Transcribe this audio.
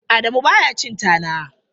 Adamu ba ya cin tana.